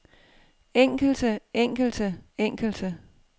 enkelte enkelte enkelte